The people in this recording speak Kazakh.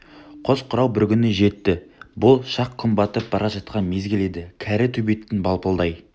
қос жырау бір күні жетті бұл шақ күн батып бара жатқан мезгіл еді кәрі төбеттің балпылдай